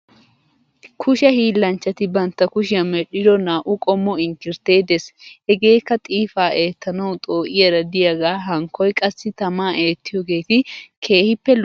Kushe hiillanchchati bantt kushiyan medhdhido naa"u qommo inkirtte des. Hegeekka xiifaa eettanaw xoo'iyara diyagaa hankkoy qassi tamaa eettiyogeeti keehippe lo'oosona.